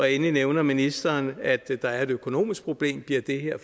endelig nævner ministeren at der er et økonomisk problem bliver det her